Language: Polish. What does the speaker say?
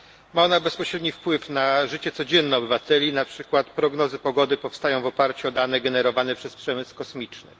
Ma ona bezpośredni wpływ na życie codzienne obywateli, na przykład prognozy pogody powstają w oparciu o dane generowane przez przemysł kosmiczny.